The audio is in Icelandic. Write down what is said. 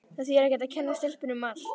Það þýðir ekkert að kenna stelpunni um allt.